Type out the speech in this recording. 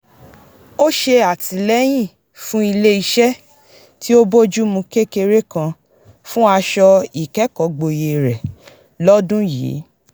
ó ṣè àtìlẹyìn fún ilé is̩é̩ tí ó bójúmu kékeré kan fún aṣọ ìkẹ́kọ̀ógboyè rẹ̀ lọ́dún yìí